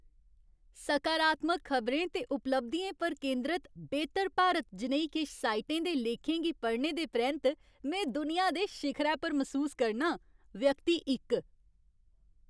सकारात्मक खबरें ते उपलब्धियें पर केंदरत "बेहतर भारत" जनेही किश साइटें दे लेखें गी पढ़ने दे परैंत्त में दुनिया दे शिखरै पर मसूस करनां। व्यक्ति इक